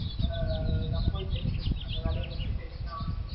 ஆ நான் போயிட்டு அந்த வேலைய முடிச்சிட்டு நான்,